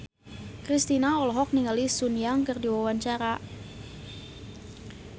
Kristina olohok ningali Sun Yang keur diwawancara